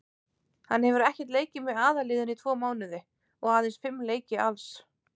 Hann hefur ekkert leikið með aðalliðinu í tvo mánuði og aðeins fimm leiki alls.